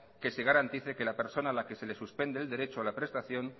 que se garantice que a la persona que se le suspende el derecho a la prestación